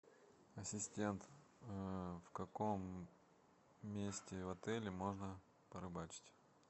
ассистент в каком месте в отеле можно порыбачить